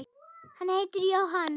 Hann heitir Jóhann